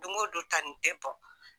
Don o don tanin Dɛɛbɔ.